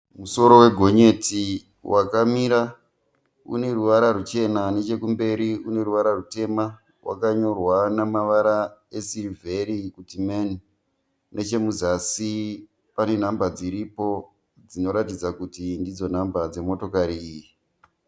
Musoro wegonyeti wakamira, une ruvara ruchena, nechekumberi une ruvara rutema. Wakanyorwa namavara esirivheri kuti meni, nechemuzasi pane nhamba dziripo dzinoratidza kuti ndidzo nhamba dzimotokari iyi